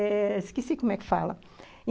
Esqueci como é que fala.